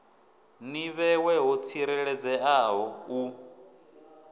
ḓi vhewe ho tsireledzeaho u